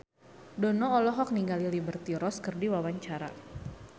Dono olohok ningali Liberty Ross keur diwawancara